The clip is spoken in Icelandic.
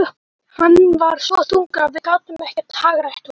Hann var svo þungur að við gátum ekkert hagrætt honum.